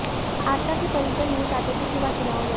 आशा के परिजन नहीं चाहते थे कि वह चुनाव लड़े